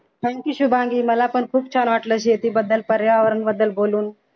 thank you Shubhangi मला पण खूप छान वाटलं शेतीबद्दल पर्यावरणाबद्दल बोलून